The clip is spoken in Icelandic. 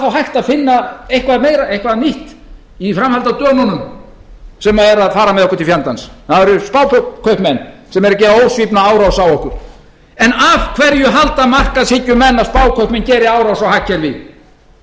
þá hægt að finna eitthvað nýtt í framhaldi af dönunum sem eru að fara með okkur til fjandans það eru spákaupmenn sem eru að gera ósvífna árás á okkur en af hverju halda markaðshyggjumenn að spákaupmenn geri árás á hagkerfi af